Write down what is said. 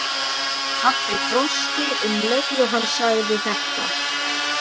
Pabbi brosti um leið og hann sagði þetta.